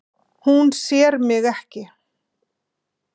Hún sér mig ekki.